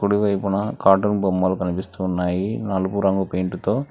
కుడి వైపున కార్టూన్ బొమ్మలు కనిపిస్తున్నాయి నలుపు రంగు పెయింట్తో .